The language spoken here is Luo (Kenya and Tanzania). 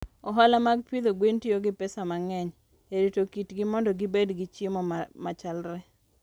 Ohala mag pidho gwen tiyo gi pesa mang'eny e rito kitgi mondo gibed gi chiemo machalre.